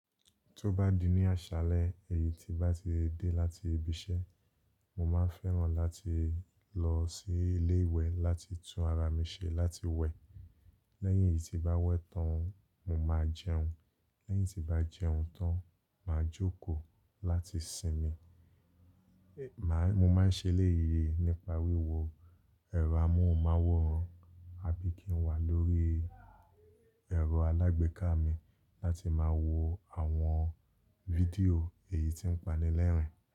Tó bá di ní àṣálẹ́ èyí tí bá ti dé láti ibi iṣẹ́, mo máa fẹ́ràn láti lọ sí ilé ìwẹ̀ láti tún ara mi ṣe láti wẹ̀. Lẹ́yìn tí bá wẹ̀ tán, mo máa jẹun. Lẹ́yìn tí bá jẹun tán, máa jókòó láti sinmi. Mo máa ń ṣe léye nípa wíwo ẹ̀rọ amóhùnmáwòrán àbí kí n wà lórí ẹ̀rọ alágbèéká mi láti máa wo àwọn fídíò èyí tí ń panilẹ́rìn.